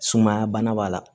Sumaya bana b'a la